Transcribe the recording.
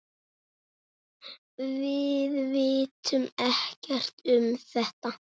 Við vitum ekkert um þetta.